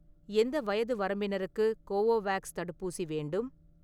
எந்த வயது வரம்பினருக்கு கோவோவேக்ஸ் தடுப்பூசி வேண்டும்?